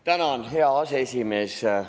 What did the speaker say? Tänan, hea aseesimees!